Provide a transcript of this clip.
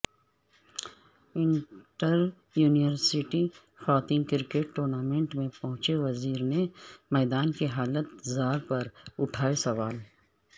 inter university خواتینکرکٹ tournament میں پہنچے وزیر نے میدان کی حالت زار پر اٹھائے سوال